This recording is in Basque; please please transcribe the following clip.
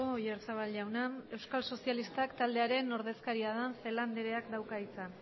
oyarzabal jauna euskal sozialistak taldearen ordezkaria den celaá andereak dauka hitza